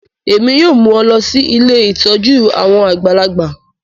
Èmi yoo mu ọ lọ si ilé ìtójú àwon àgbàlagbà